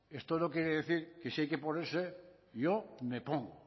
esto no quiere decir que si hay que ponerse yo me pongo